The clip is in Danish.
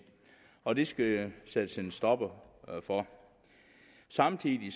og det skal der sættes en stopper for samtidig